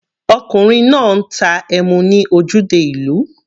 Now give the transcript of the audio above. Ọkùnrin náà ń ta emu ní ojúde ìlú.